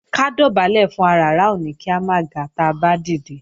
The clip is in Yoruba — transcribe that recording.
Ká dọ̀bálẹ̀ fún aràrá ò ní kí a máa ga táa bá dìde